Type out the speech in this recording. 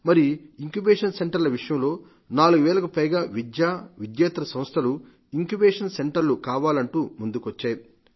మరి incubation centre ల విషయంలో 4 వేలకు పైగా విద్య విద్యేతర సంస్థలు ఇంక్యుబేషన్ సెంటర్లు కావాలంటూ ముందుకొచ్చాయి